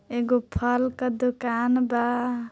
एगो फल का दुकान बा।